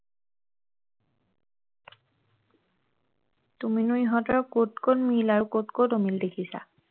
তুমিনো ইহঁতৰ কত কত মিল আৰু কত কত অমিল দেখিছা